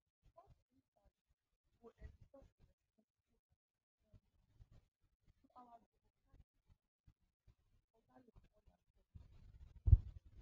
such insights go ensure a respectful and informed approach to our democratic commitments oga lamola tok